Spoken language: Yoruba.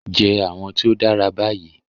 Jẹ awọn ti o dara bayi